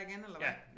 Ja